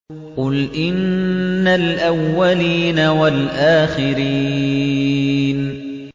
قُلْ إِنَّ الْأَوَّلِينَ وَالْآخِرِينَ